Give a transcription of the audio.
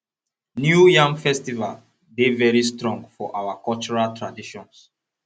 new yam festival dey very strong for our cultural traditions